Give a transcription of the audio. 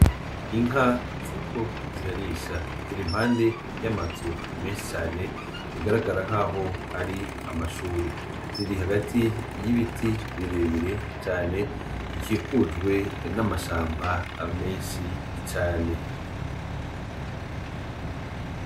Inka ziriko zirarisha ziri impande y'amazu menshi cane bigaragara nk'aho ari amashuri ziri hagati y' ibiti birebire cane bikikujwe n'amashamba amenshi icane.